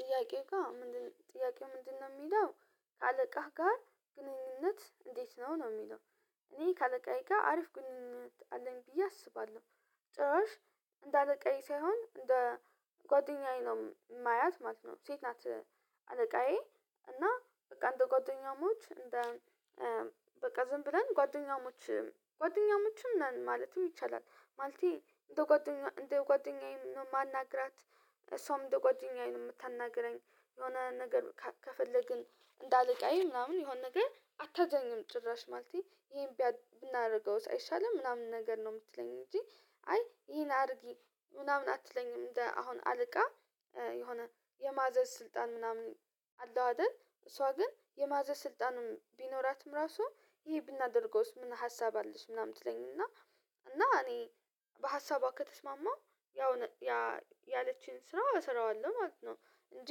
ጥያቄው ጋር ምንድነው ጥያቄው ምንድነው የሚለው ከአለቃህ ጋር ግንኙነት እንዴት ነው ነው የሚለው? እኔ ካአለቃዬ አሪፍ ግንኙነት አለኝ ብዬ አስባለሁ። ጭራሽ እንዳለቃዬ ሳይሆን እንደ ጓደኛዬ ነው እማያት ማለት ነው ሴት ናት። አለቃዬ እና በቃ እንደ ጓደኛሞች እንደ በቃ ዝም ብለን ጓደኛሞች ጓደኛሞችም ነን ማለትም ይቻላል። ማለቴ እንደ ጓደኛ እንደ ጓደኛዬ ነው የማናግራት እሷም እንደ ጓደኛዬ ነው የምታናግረኝ። የሆነ ነገር ከፈለግን እንዳለቃዬ ምናምን የሆነ ነገር አታዘኝም ጭራሽ ማለቴ ይሄን ብናደርገው አይሻልም ምናምን ነገር ነው የምትለኝ እንጂ አይ ይሄን አርጊ ምናምን አትለኝም እንደ አሁን አለቃ የሆነ የማዘዝ ስልጣን ምናምን አለው አይደል እሷ ግን የማዘዝ ስልጣንም ቢኖራትም ራሱ ይሄ ብናደርገውስ ምን ሀሳብ አለሽ ምናምን ትለኝ እና እና እኔ በሀሳቧ ከተስማማው ያው ያለችኝ ስራ እሰራዋለሁ ማለት ነው። እንጂ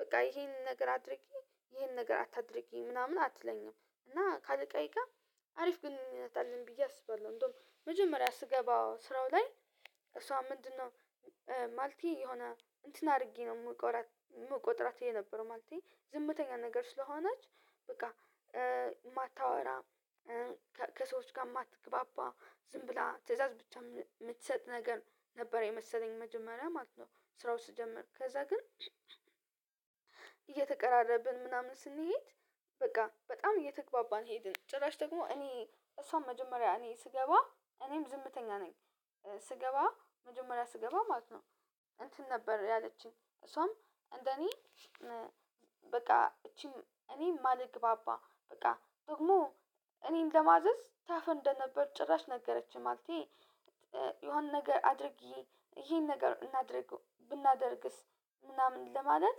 በቃ ይሄንን ነገር አድርጊ ይሄንን ነገር አታድርጊ ምናምን አትለኝም እና ካአልቃዬ ጋ አሪፍ ግንኙነት አለን ብዬ አስባለው። እንደውም መጀመሪያ ስገባ ስራው ላይ እሷ ምንድነው ማልቴ የሆነ እንትን አድርጌ ነው የምቆጥራት የነበረው ማልቲ ዝምተኛ ነገር ስለሆነች በቃ የማታወራ ከሰዎች ጋር የማትግባባ ዝም ብላ ትእዛዝ ብቻ የምትሰጥ ነገር ነበር የመሰለኝ መጀመሪያ ማለት ነው። ስራውን ስጀምር ከዛ ግን እየተቀራረብን ምናምን ስንሄድ በቃ በጣም እየተግባባን ሄድን ጭራሽ ደግሞ እኔ እሷን መጀመሪያ እኔ ስገባ እኔም ዝምተኛ ነኝ ስገባ መጀመሪያ ስገባ ማለት ነው። እንትን ነበር ያለችኝ እሷም እንደኔ በቃ እቺን እኔ እማልግባባ በቃ ደግሞ እኔን ለማዘዝ ታፍር እንደነበር ጭራሽ ነገረችኝ ማለቴ። የሆነ ነገር አድርጊዬ ይሄን ነገር እናድርግው ብናደርግስ ምናምን ለማለት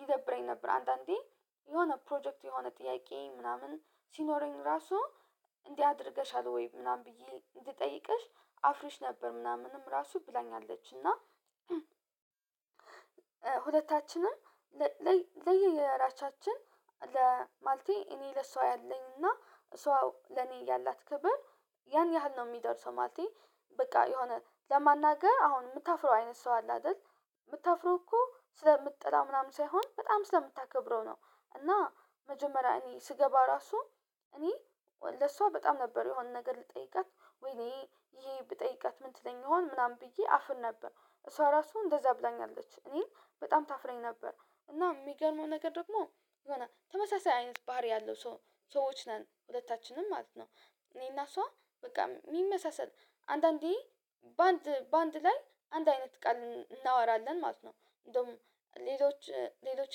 ይደብረኝ ነበር አንዳንዴ የሆነ ፕሮጀክት የሆነ ጥያቄ ምናምን ሲኖረኝ ራሱ እንዲህ አድርገሻል ወይ ምናምን ብዬ እንድጠይቅሽ አፍርሽ ነበር ምናምንም ራሱ ብላኛለች እና። ሁለታችንም ለየየራሳሳችን ማልቴ እኔ ለሷ ያለኝና እሷ ለኔ ያላት ክበር ያን ያህል ነው የሚደርሰው ማለቴ በቃ የሆነ ለማናገር አሁን የምታፍረው አይነት ሰው አለ አይደል የምታፍረው እኮ ስለምጠላው ምናምን ሳይሆን በጣም ስለምታከብረው ነው። እና መጀመሪያ እኔ ስገባ ራሱ እኔ ለሷ በጣም ነበር የሆነ ነገር ልጠይቀት ወይኔ ይሄ ብጠይቀት ምን ትለኝ ይሆን ምናምን ብዬ አፍር ነበር እሷ ራሱ እንደዛ ብላኛለች እኔን በጣም ታፍረኝ ነበር እና የሚገርመው ነገር ደግሞ የሆነ ተመሳሳይ አይነት ባህሪ ያለው ሰዎች ነን ሁለታችንም ማለት ነው። እኔና እሷ በቃ የሚመሳሰል አንዳንዴ በአንድ በአንድ ላይ አንድ አይነት ቃል እናወራለን ማለት ነው እንደውም ሌሎች ሌሎች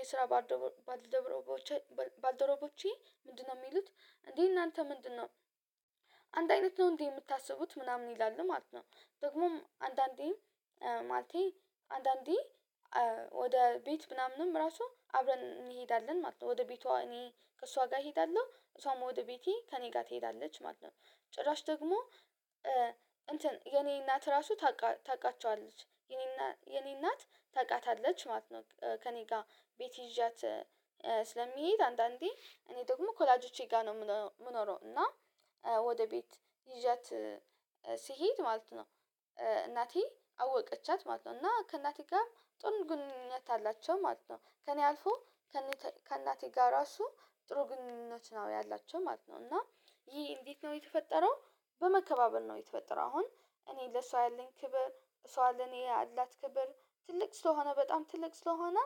የስራ ባልደረቦች ባልደረቦቼ ምንድነው የሚሉት እንዴ እናንተ ምንድነው አንድ አይነት ነው እንዴ የምታስቡት ምናምን ይላል ማለት ነው። ደግሞም አንዳንዴም ማለቴ አንዳንዴ ወደ ቤት ምናምንም ራሱ አብረን እንሄዳለን ማለት ነው ወደ ቤቷ እኔ ከእሷ ጋር እሄዳለሁ እሷም ወደ ቤቴ ከእኔ ጋር ትሄዳለች ማለት ነው። ጭራሽ ደግሞ እንትን የኔ እናት ራሱ ታቃቸዋለች የኔ እናት ታቃታለች ማለት ነው ከእኔ ጋር ቤት ይዣት ስለምሄድ አንዳንዴ እኔ ደግሞ ከወላጆቼ ጋር ነው የምኖረው እና ወደ ቤት ይዣት ስሄድ ማለት ነው እናቴ አወቀቻት ማለት ነው እና ከእናቴ ጋር ጥሩ ግንኙነት አላቸው ማለት ነው ከእኔ አልፎ ከእናቴ ጋር እሱ ጥሩ ግንኙነት ነው ያላቸው ማለት ነው። እና ይህ እንዴት ነው የተፈጠረው? በመከባበር ነው የተፈጠረው አሁን እኔ ለሷ ያለኝ ክብር እሷ ለኔ ያላት ክብር ትልቅ ስለሆነ በጣም ትልቅ ስለሆነ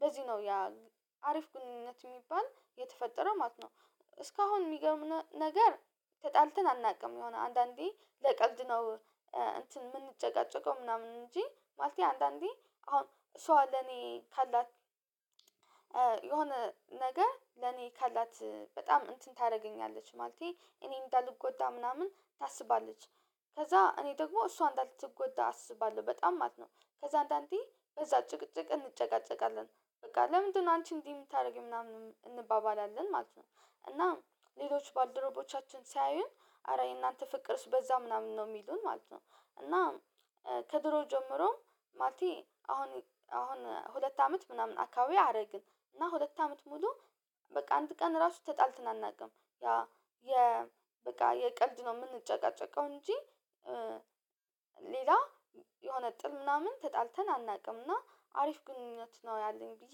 በዚህ ነው ያ አሪፍ ግንኙነት የሚባል የተፈጠረ ማለት ነው። እስካሁን የሚገርም ነገር ተጣልተን አናውቅም የሆነ አንዳንዴ ለቀልድ ነው እንትን የምንጨቃጨቀው ምናምን እንጂ ማለቴ አንዳንዴ አሁን እሷ ለኔ ካላት የሆነ ነገ ለኔ ካላት በጣም እንትን ታደርገኛለች ማለቴ እኔ እንዳልጎዳ ምናምን ታስባለች ከዛ እኔ ደግሞ እሷ እንዳትጎዳ አስባለሁ በጣም ማለት ነው። ከዛ አንዳንዴ በዛ ጭቅጭቅ እንጨቃጨቃለን በቃ ለምንድነው አንቺ እንዲህ የምታደርጊው ምናምን እንባባላለን ማለት ነው። እናም ሌሎች ባልደረቦቻችን ሲያዩን ኧረ የእናንተ ፍቅርስ በዛ ምናምን ነው የሚሉን ማለት ነው። እና ከድሮ ጀምሮም ማለቴ አሁን አሁን ሁለት አመት ምናምን አካባቢ አረግን እና ሁለት አመት ሙሉ በቃ አንድ ቀን ራሱ ተጣልትን አናቅም ያ የ በቃ የቀልድ ነው የምንጨቃጨቀው እንጂ ሌላ የሆነ ጥል ምናምን ተጣልተን አናቅም። እና አሪፍ ግንኙነት ነው ያለኝ ብዬ